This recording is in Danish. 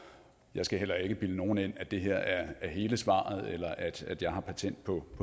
jeg skal heller ikke bilde nogen ind at det her er hele svaret eller at jeg har patent på